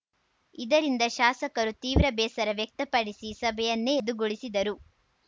ಇದರಿಂದ ಶಾಸಕರು ತೀವ್ರ ಬೇಸರ ವ್ಯಕ್ತ ಪಡಿಸಿ ಸಭೆಯನ್ನೇ ರದ್ದುಗೊಳಿಸಿದರು